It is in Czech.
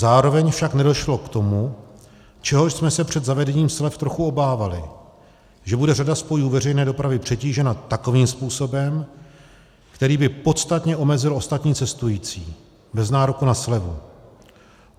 Zároveň však nedošlo k tomu, čehož jsme se před zavedením slev trochu obávali, že bude řada spojů veřejné dopravy přetížena takovým způsobem, který by podstatně omezil ostatní cestující bez nároku na slevu.